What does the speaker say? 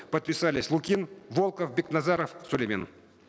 подписались лукин волков бекназаров сулеймен